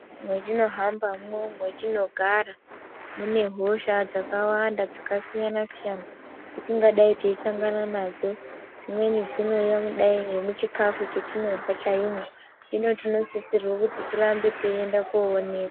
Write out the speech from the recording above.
Mwatino hamba mwo matino gara mune hosha dzakawanda dzaka siyana siyana dzatingadai tei sangana nadzo dzimweni dzinoouya kudai ne muchikafu chetinorya chaimwo hino tino sisirwa kuti tirambe teinda ko onekwa.